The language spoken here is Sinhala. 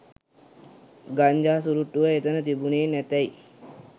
ගංජා සුරුට්ටුව එතන තිබුණෙ නැතැයි